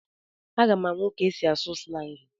M ga-amụ ka esi asụ slangị.